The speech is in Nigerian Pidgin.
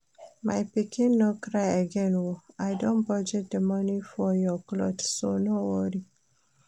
My pikin no cry again oo, I don budget the money for your cloth so no worry